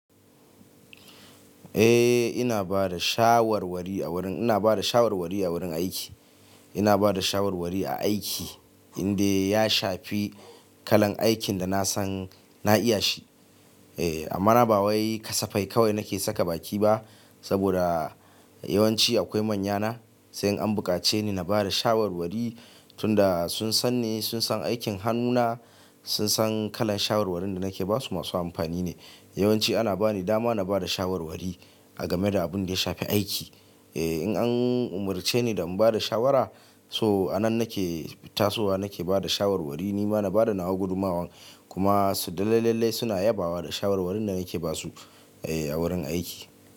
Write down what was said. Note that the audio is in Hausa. Eh, ina bada shawarwari a wurin, ina bada shawarwari a wurin aiki. Ina bada shawarwari a aiki, indai ya shafi kalan aikin da na san na iya shi. Eh, amma ba wai kasafai kawai nake saka baki ba, saboda yawanci akwai manyana, sai in an bukace ni na bada shawarwari tunda sun san ni, sun san aikin hannuna, sun san kalan shawarwarin da nake ba su, masu amfani ne. Yawanci ana bani dama na bada shawarwari, a gameda abin da ya shafi aiki. Eh, in an umurce ni da in bada shawara, so a nan nake tasowa nake bada shawarwari, ni ma na bada nawa gudumawan, kuma su dalalallai suna yabawa da shawarwarin da nake ba su, eh a wurin aiki.